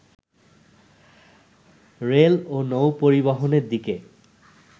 rail ও নৌ-পরিবহনের দিকে